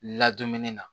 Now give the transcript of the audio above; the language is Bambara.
Ladumuni na